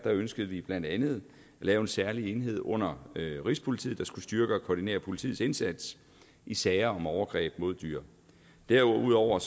ønskede vi blandt andet at lave en særlig enhed under rigspolitiet der skulle styrke og koordinere politiets indsats i sager om overgreb mod dyr og derudover